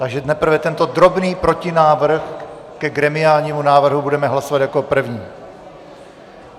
Takže nejprve tento drobný protinávrh ke gremiálnímu návrhu budeme hlasovat jako první.